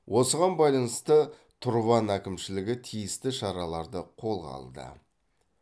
осыған байланысты тұрван әкімшілігі тиісті шараларды қолға алды